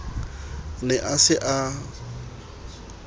ne a se a a